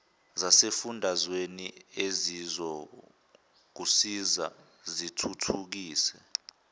zasesifundazweni ezizokusiza zithuthukise